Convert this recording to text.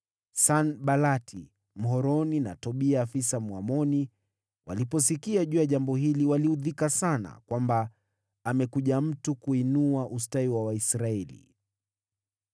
Sanbalati Mhoroni na Tobia afisa Mwamoni waliposikia juu ya jambo hili, waliudhika sana kwamba amekuja mtu kuinua ustawi wa Waisraeli.